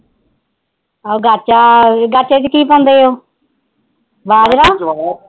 ਆਹੋ ਗਾਚਾ ਗਾਚੇ ਕੀ ਪਾਉਂਦੇ ਹੋ ਬਾਜਰਾ